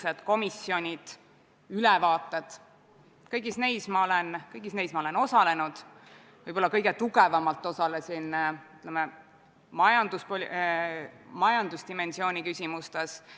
Väliskomisjon tegi oma 22. oktoobri istungil kõnealuse eelnõu kohta järgmised menetluslikud otsused: teha Riigikogu juhatusele ettepanek võtta eelnõu 85 neljapäeval, 7. novembril Riigikogu täiskogu istungi päevakorda ja viia läbi eelnõu lõpphääletus, ühtlasi määrata eelnõu esimese lugemise ettekandjaks väliskomisjoni esimees Enn Eesmaa.